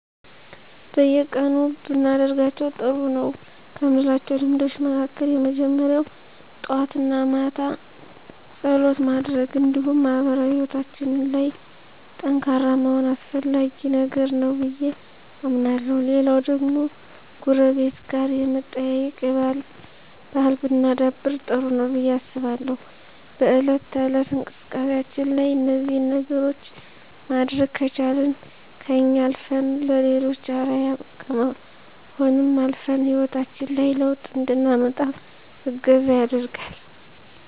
በየቀኑ ብናደርጋቸው ጥሩ ነው ከምላቸው ልምዶች መካከል የመጀመሪያው ጠዋት እና ማታ ፀሎት ማድረግ እንዲሁም ማህበራዊ ሕይወታችን ላይ ጠንካራ መሆን አስፈላጊ ነገር ነው ብዬ አምናለሁ። ሌላው ደግሞ ጎረቤት ጋር የመጠያየቅ ባህል ብናዳብር ጥሩ ነው ብዬ አስባለሁ። በእለት ተእለት እንቅስቃሴያችን ላይ እነዚህን ነገሮች ማድረግ ከቻልን ከኛ አልፈን ለሌሎችም አርአያ ከመሆንም አልፈን ሕይወታችን ላይ ለውጥ እንድናመጣ እገዛ ያደርጋል።